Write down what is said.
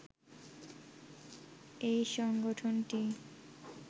এই সংগঠনটি